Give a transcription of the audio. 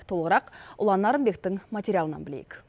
толығырақ ұлан нарынбектің материалынан білейік